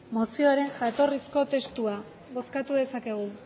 mozioaren jatorrizko testua bozkatu dezakegu